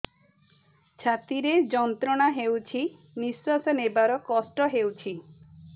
ଛାତି ରେ ଯନ୍ତ୍ରଣା ହେଉଛି ନିଶ୍ଵାସ ନେବାର କଷ୍ଟ ହେଉଛି